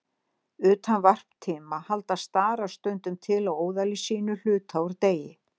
Utan varptíma halda starar stundum til á óðali sínu hluta úr degi.